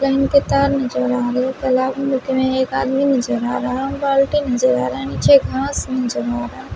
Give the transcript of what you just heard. कही पे तार नजर आ रहे है कला एक आदमी नजर आ रहा है और बाल्टी नजर आ रहा है नीचे घास नजर आ रहा है।